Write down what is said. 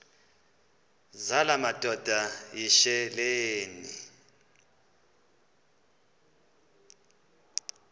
zala madoda yityesheleni